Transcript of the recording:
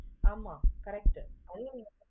ஆமா correct